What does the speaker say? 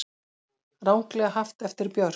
Ranglega haft eftir Björk